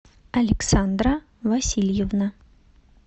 александра васильевна